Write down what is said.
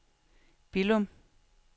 Billum